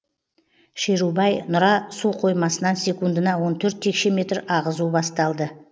шерубай нұра су қоймасынан секундына он төрт текше метр ағызу басталды